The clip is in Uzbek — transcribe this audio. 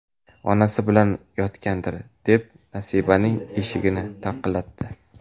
Onasi bilan yotgandir, deb Nasibaning eshigini taqillatdi.